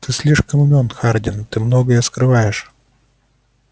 ты слишком умён хардин ты многое скрываешь